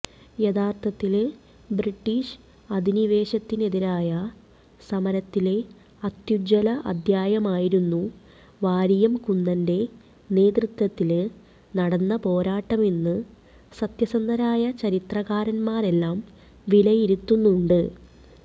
യഥാര്ഥത്തില് British അധിനിവേശത്തിനെതിരായ സമരത്തിലെ അത്യുജ്വല അധ്യായമായിരുന്നു വാരിയംകുന്നന്റെ നേതൃത്വത്തില് നടന്ന പോരാട്ടമെന്ന് സത്യസന്ധരായ ചരിത്രകാരന്മാരെല്ലാം വിലയിരുത്തുന്നുണ്ട്